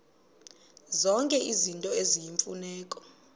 zonke izinto eziyimfuneko